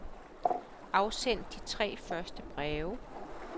Afsend de tre første breve.